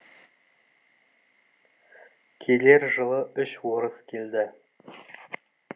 келер жылы үш орыс келді